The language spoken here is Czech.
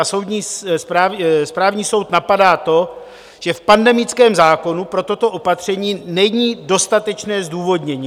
A správní soud napadá to, že v pandemickém zákonu pro toto opatření není dostatečné zdůvodnění.